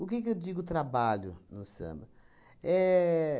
O que que eu digo trabalho no samba? Éh